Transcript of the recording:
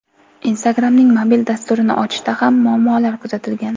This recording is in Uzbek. Instagram’ning mobil dasturini ochishda ham muammolar kuzatilgan.